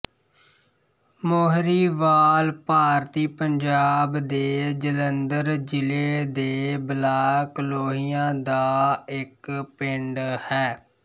ਮੋਹਰੀਵਾਲ ਭਾਰਤੀ ਪੰਜਾਬ ਦੇ ਜਲੰਧਰ ਜ਼ਿਲ੍ਹੇ ਦੇ ਬਲਾਕ ਲੋਹੀਆਂ ਦਾ ਇੱਕ ਪਿੰਡ ਹੈ